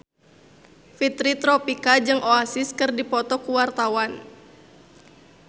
Fitri Tropika jeung Oasis keur dipoto ku wartawan